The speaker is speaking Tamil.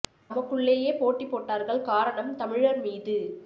தமக்குள்ளேயே போட்டி போட்டார்கள் காரணம் தமிழர் மீது